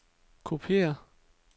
kopiér